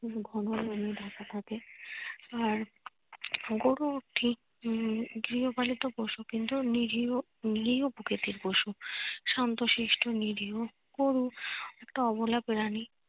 থাকে আর গরু ঠিক উম গৃহপালিত পশু কিন্তু নিরীহ প্রকৃতির পশু, শান্তশিষ্ট নিরীহ গরু একটা অবলা প্রানী।